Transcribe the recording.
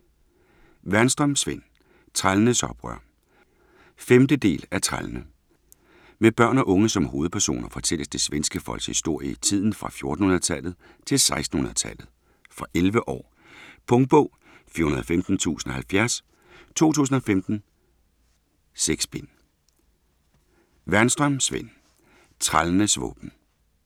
Wernström, Sven: Trællenes oprør 5. del af Trællene. Med børn og unge som hovedpersoner fortælles det svenske folks historie i tiden fra 1400-tallet til 1600-tallet. Fra 11 år. Punktbog 415070 2015. 6 bind.